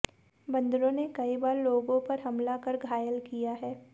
बंदरों ने कई बार लोगों पर हमला कर घायल किया है